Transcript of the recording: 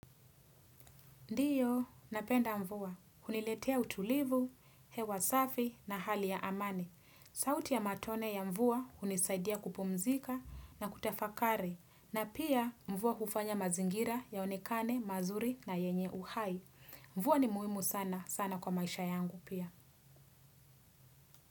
Ndiyo, napenda mvua. Huniletea utulivu, hewa safi na hali ya amani. Sauti ya matone ya mvua hunisaidia kupumzika na kutafakari. Na pia mvua hufanya mazingira yaonekane, mazuri na yenye uhai. Mvua ni muhimu sana, sana kwa maisha yangu pia.